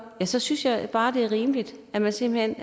så synes jeg bare det er rimeligt at man simpelt hen